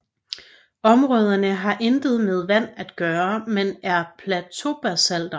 Områderne har intet med vand at gøre men er plateaubasalter